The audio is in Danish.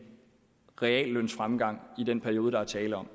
reallønsfremgang i den periode der er tale om